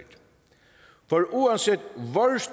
for uanset